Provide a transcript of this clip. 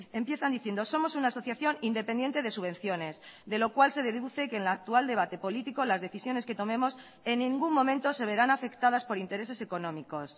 empiezan diciendo somos una asociación independiente de subvenciones de lo cual se deduce que en la actual debate político las decisiones que tomemos en ningún momento se verán afectadas por intereses económicos